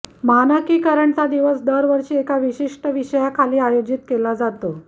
मानकीकरणचा दिवस दरवर्षी एका विशिष्ट विषयाखाली आयोजित केला जातो